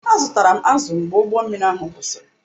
Azụtara m azụ mgbe ụgbọ mmiri ahụ kwụsịrị